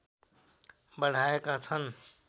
बढाएका छन्